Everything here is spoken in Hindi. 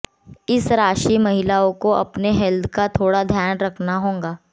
इस राशि महिलाओं को अपनी हेल्थ का थोड़ा ध्यान रखना होगा